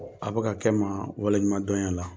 A bɛ ka kɛ n ma wale ɲumandɔn ye a la.